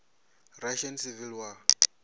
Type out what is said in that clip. russian civil war